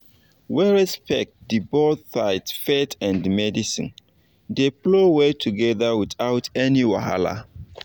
when respect dey both sides faith and medicine dey flow well together without any wahala.